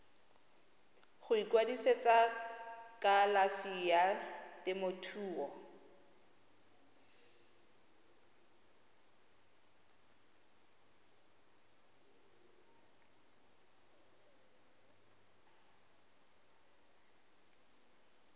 go ikwadisetsa kalafi ya temothuo